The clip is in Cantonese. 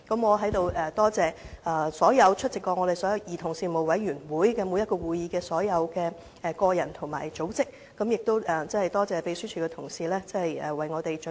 我在此感謝所有曾出席兒童權利小組委員會會議的個人和組織，亦感謝秘書處的同事為我們準備這份完備的報告。